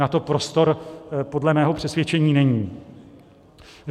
Na to prostor podle mého přesvědčení není.